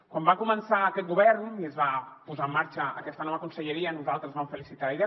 quan va començar aquest govern i es va posar en marxa aquesta nova conselleria nosaltres vam felicitar la idea